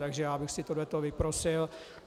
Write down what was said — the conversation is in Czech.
Takže já bych si tohle vyprosil.